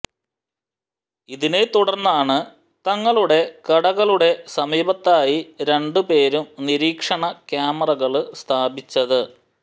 ഇതിനെ തുടര്ന്നാണ് തങ്ങളുടെ കടകളുടെ സമീപത്തായി രണ്ടു പേരും നിരീക്ഷണ ക്യാമറകള് സ്ഥാപിച്ചത്